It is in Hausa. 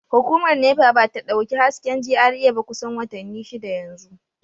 Hukumar NEPA ba ta dauki hasken GRA ba kusan watanni shida yanzu